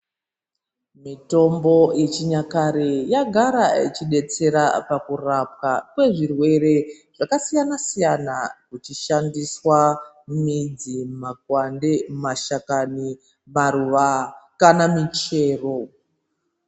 Mitombo yechinyakare yagara ichi betsera pakurapwa kwezvirwere zvakasiyana siyana kuchishandiswa midzi, makwande, mashakami, maruva kana michero.